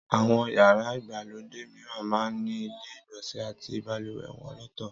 Àwọn yàrá ìgbàlódé mìíran máa ń ní ilé ìgbọ̀nsẹ̀ àti balùwẹ̀ wọn lọ́tọ̀